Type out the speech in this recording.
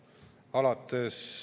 Lugupeetud istungi juhataja!